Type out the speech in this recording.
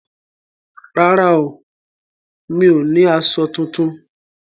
Rárá o, mi ò ní aṣọ tuntun